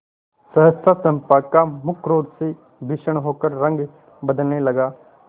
सहसा चंपा का मुख क्रोध से भीषण होकर रंग बदलने लगा